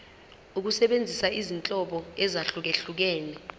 ukusebenzisa izinhlobo ezahlukehlukene